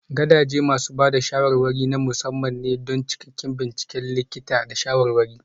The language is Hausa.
Gadaje masu ba da shawara na musamman ne don cikakken binciken likita da shawarwari.